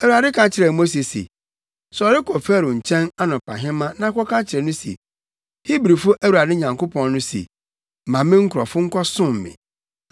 Awurade ka kyerɛɛ Mose se, “Sɔre kɔ Farao nkyɛn anɔpahema na kɔka kyerɛ no se, Hebrifo Awurade Nyankopɔn no se, Ma me nkurɔfo nkɔsom me,